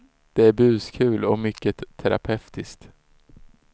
Det är buskul och mycket terapeutiskt.